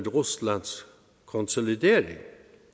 ruslands konsolidering dette